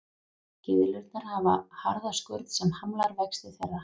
Gyðlurnar hafa harða skurn sem hamlar vexti þeirra.